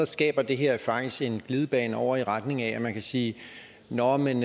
skaber det her faktisk en glidebane over i retning af at man kan sige nå men